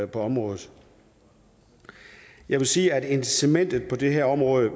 på området jeg vil sige at incitamentet på det her område